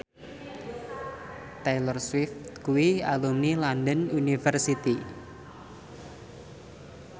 Taylor Swift kuwi alumni London University